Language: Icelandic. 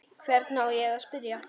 Hvern á ég að spyrja?